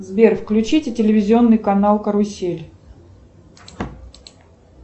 сбер включите телевизионный канал карусель